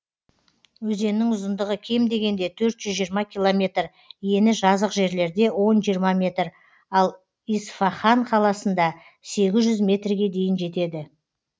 өзеннің ұзындығы кем дегенде төрт жүз жиырма километр ені жазық жерлерде он жиырма метр ал исфаһан қаласында сегіз жүз метрге дейін жетеді